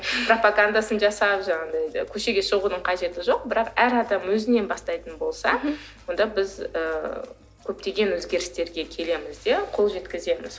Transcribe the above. пропагандасын жасап жаңағындай көшеге шығудың қажеті жоқ бірақ әр адам өзінен бастайтын болса мхм онда біз ы көптеген өзгерістерге келеміз де қол жеткіземіз